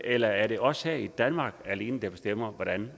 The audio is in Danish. eller er det os her i danmark alene der bestemmer hvordan